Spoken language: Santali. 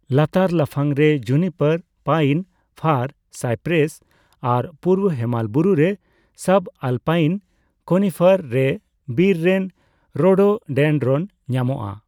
ᱞᱟᱛᱟᱨ ᱞᱟᱯᱷᱟᱝ ᱨᱮ ᱡᱩᱱᱤᱯᱟᱨ, ᱯᱟᱭᱤᱱ, ᱯᱷᱟᱨ, ᱥᱟᱭᱯᱨᱮᱥ ᱟᱨ ᱯᱩᱨᱵᱚ ᱦᱮᱢᱟᱞ ᱵᱩᱨᱩᱨᱮ ᱥᱟᱵᱼᱟᱞᱯᱟᱭᱤᱱ ᱠᱚᱱᱤᱯᱷᱟᱨ ᱨᱮ ᱵᱤᱨ ᱨᱮᱱ ᱨᱳᱰᱳᱰᱮᱱᱰᱨᱚᱱ ᱧᱟᱢᱚᱜᱼᱟ ᱾